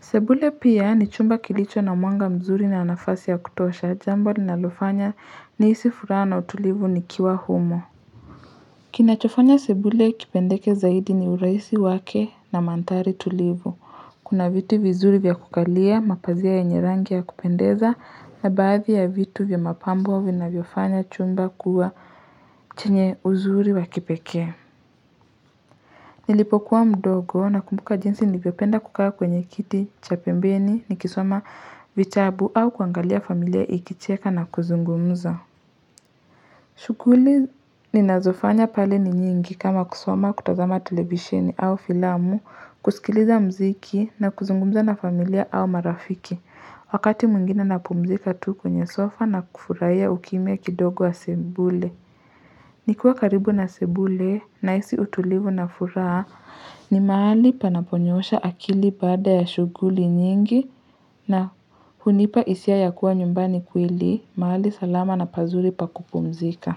Sebule pia ni chumba kilicho na mwanga mzuri na nafasi ya kutosha jambo ninalofanya nihisi furaha na utulivu nikiwa humo. Kinachofanya sebule kipendeke zaidi ni urahisi wake na mandhari tulivu kuna viti vizuri vya kukalia, mapazia yanye rangi ya kupendeza, na baadhi ya vitu vya mapambo vinavyofanya chumba kuwa chenye uzuri wa kipekee. Nilipokuwa mdogo nakumbuka jinsi nilivyopenda kukaa kwenye kiti, cha pembeni, nikisoma vitabu au kuangalia familia ikicheka na kuzungumza. Shughuli ninazofanya pale ni nyingi kama kusoma, kutazama televisheni au filamu, kusikiliza muziki na kuzungumza na familia au marafiki. Wakati mwingine napumzika tu kwenye sofa na kufurahia ukimya kidogo wa sebule. Nikiwa karibu na sebule nahisi utulivu na furaha ni mahali panaponyoosha akili baada ya shughuli nyingi na hunipa hisia ya kuwa nyumbani kweli, mahali salama na pazuri pa kupumzika.